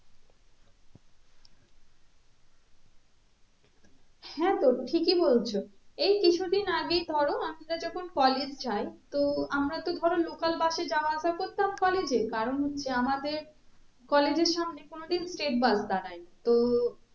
হ্যাঁ তো ঠিকই বলছো এই কিছু দিন আগেই ধরো আমরা যখন college যাই তো আমরা তো ধরো local bus এ যাওয়া আসা করতাম college এ কারণ হচ্ছে আমাদের college এর সামনে কোনো দিন state bus দাঁড়ায় নি তো